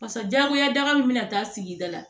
Barisa jagoya daka min bɛna taa sigida la